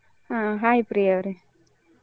ಹ hai ಪ್ರಿಯ ಅವರೇ.